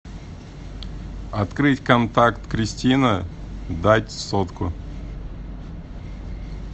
открыть контакт кристина дать сотку